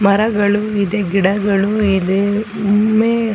ಮರಗಳು ಇದೆ ಗಿಡಗಳು ಇದೆ ಮುಂದೆ .